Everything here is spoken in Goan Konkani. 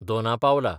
दोना पावला